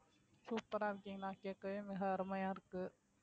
super ஆ இருக்கீங்களா கேட்கவே மிக அருமையா இருக்கு